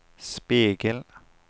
spegel